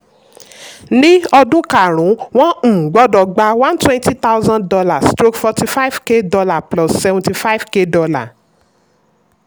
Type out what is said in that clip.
ní ọdún karùn-ún wọ́n um gbọdọ̀ gba one twenty thousand dollar stroke forty five k dollar plus seventy five k dollar